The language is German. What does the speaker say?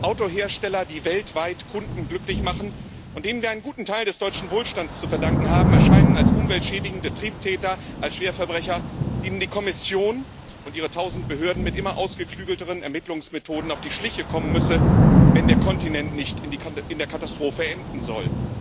Autohersteller, die weltweit Kunden glücklich machen und denen wir einen guten Teil des deutschen Wohlstands zu verdanken haben, erscheinen als umweltschädigende Triebtäter, als Schwerverbrecher, denen die Kommission und ihre tausend Behörden mit immer ausgeklügelteren Ermittlungsmethoden auf die Schliche kommen müsse, wenn der Kontinent nicht in der Katastrophe enden soll.